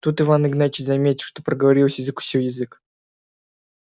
тут иван игнатьич заметил что проговорился и закусил язык